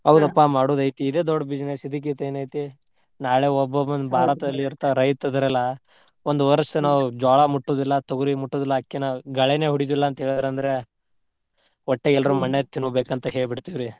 ಹೌದಪ್ಪಾ ಮಾಡುದ್ ಐತಿ ಇದೆ ದೊಡ್ಡ್ business ಇದಕ್ಕಿಂತ ಏನೈತಿ ನಾಳೆ ಒಬ್ಬೊಬನ್ ಬಾಳ ರೈತ್ರ್ ಇದ್ದಾರಲ್ಲ. ಒಂದ್ ವರ್ಷ್ ನಾವ್ ಜ್ವಾಳಾ ಮುಟ್ಟುದಿಲ್ಲಾ, ತೊಗರಿ ಮುಟ್ಟುದಿಲ್ಲಾ, ಅಕ್ಕಿನಾ ಬ್ಯಾಳಿನ ಒಡಿಯುದಿಲ್ಲಾ ಅಂತ ಹೇಳ್ಯಾರಂದ್ರ ಹೊಟ್ಟೆಗ್ ಎಲ್ರೂ ಮಣ್ಣೇ ತಿನ್ಬೇಕಂತ ಹೇಳ್ಬಿಡ್ತಿವ್ರಿ.